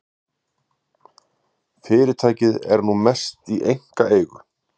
Fyrirtækið er nú að mestu í einkaeigu.